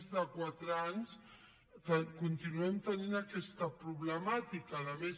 més de quatre anys continuem tenint aquesta problemàtica a més